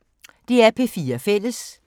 DR P4 Fælles